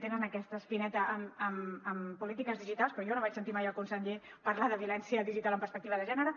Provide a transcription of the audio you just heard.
tenen aquesta espineta amb polítiques digitals però jo no vaig sentir mai el conseller parlar de violència digital amb perspectiva de gènere